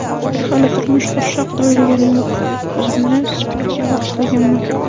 Hali turmush qurish haqida o‘ylaganim yo‘q, o‘zimni sportga bag‘ishlaganman.